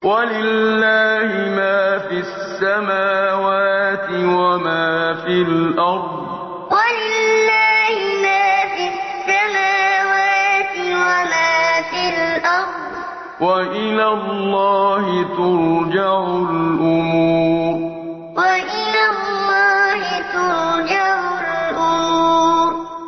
وَلِلَّهِ مَا فِي السَّمَاوَاتِ وَمَا فِي الْأَرْضِ ۚ وَإِلَى اللَّهِ تُرْجَعُ الْأُمُورُ وَلِلَّهِ مَا فِي السَّمَاوَاتِ وَمَا فِي الْأَرْضِ ۚ وَإِلَى اللَّهِ تُرْجَعُ الْأُمُورُ